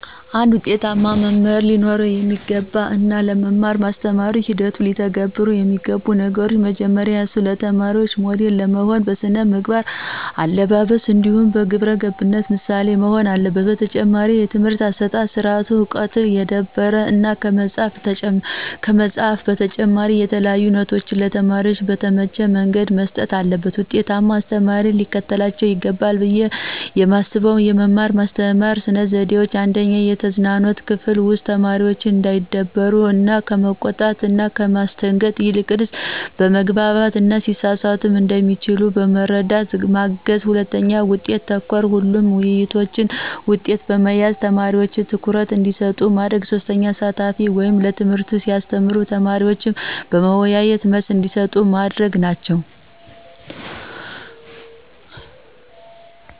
አንድ ውጤታማ መምህር ሊኖረው የሚገባ እና ለመማር ማስተማር ሂደቱ ሊተገብረው የሚገቡ ነገሮች። መጀመሪያ እሱ ለተማሪዎቹ ሞዴል ለመሆን በስነ መግባር, በአለባበስ ,እንዲሁም በግብረገብነት ምሳሌ መሆን አለበት። በተጨማሪም የትምህርት አሠጣጥ ስርአቱ በዕውቀት የዳበረ እና ከመፅሀፍ በተጨማሪ የተለያዩ ኖቶችን ለተማሪዎች በተመቸ መንገድ መስጠት አለበት። ውጤታማ አስተማሪ ሊከተላቸው ይገባል ብየ የማስበው የመማር ማስተማር ስነ ዘዴዎች:- 1/የተዝናኖት ክፍል ውስጥ ተማሪዎች እንዳይደበሩ እና ከመቆጣት እና ከማስደንገጥ ይልቅ በማግባባት እና ቢሳሳቱም እንደሚችሉ በማስረዳት ማገዝ 2/ውጤት ተኮር ሁሉንም ውይይቶች ውጤት በመያዝ ተማሪዎች ትኩረት እንዲሰጡ ማድረግ። 3/አሳታፊ ወይም ትምህርቱን ሲያስተምር ተማሪዎች በመዎያየት መልስ እንዲሰጡ ማድረግ ናቸው።